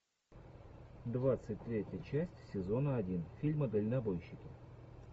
двадцать третья часть сезона один фильма дальнобойщики